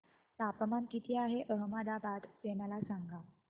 तापमान किती आहे अहमदाबाद चे मला सांगा